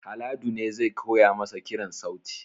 Haladu ne zai koya masa kiran sauti